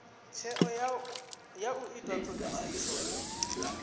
tsheo ya u ita thodisiso